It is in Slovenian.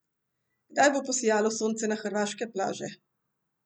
Kdaj bo posijalo sonce na hrvaške plaže?